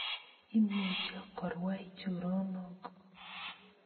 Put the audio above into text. Imuche korwai choronok